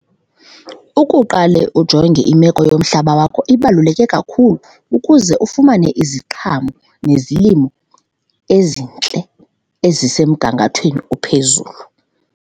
Ukuqale ujonge imeko yomhlaba wakho ibaluleke kakhulu ukuze ufumane iziqhamo nezilimo ezintle ezisemgangathweni ophezulu.